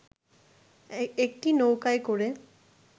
একটি নৌকায় করে